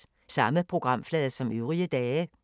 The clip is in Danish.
Samme programflade som øvrige dage